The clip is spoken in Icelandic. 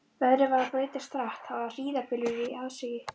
Veðrið var að breytast hratt, það var hríðarbylur í aðsigi.